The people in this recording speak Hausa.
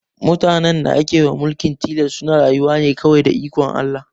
Mutanen da ake wa mulkin tilas suna rayuwa ne kawai da ikon Allah